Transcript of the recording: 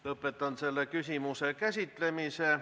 Lõpetan selle küsimuse käsitlemise.